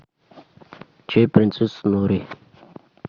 чай принцесса нури